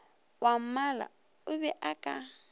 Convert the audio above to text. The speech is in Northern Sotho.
wwammala o be a ka